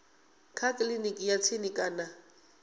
kha kiliniki ya tsini kana